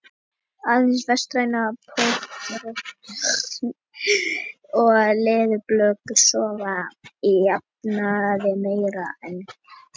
Aðeins vestrænar pokarottur og leðurblökur sofa að jafnaði meira en kettir.